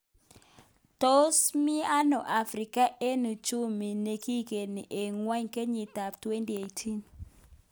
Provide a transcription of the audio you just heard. Tos mi ano Afrika eng uchumi nikigeni eng ngwony kenyit ab 2018